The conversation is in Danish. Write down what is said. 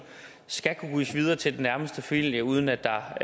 skal kunne gives videre til den nærmeste familie uden at der